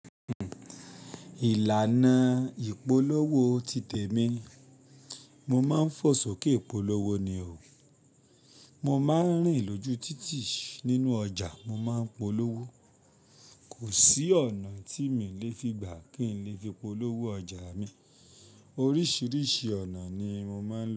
Ìlànà ìpolówó ti tẹ̀ mí. Mọ máa ń fò sókè polówó ni o. Mo máa ń rìn lójú títì nínú ọjà, mo máa ń polówó. Kò sí ọ̀nà tí mi le fi gbà kí n lè fi polówó ọjà mi. Oríṣiríṣi ọ̀nà ni mo máa ń lọ.